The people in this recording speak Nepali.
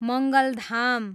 मङ्गलधाम